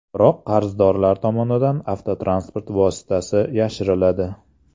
Biroq qarzdorlar tomonidan avtotransport vositasi yashiriladi.